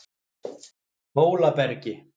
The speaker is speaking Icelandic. Hólabergi